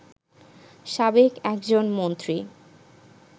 সাবেক একজন মন্ত্রী